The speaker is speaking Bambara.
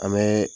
An bɛ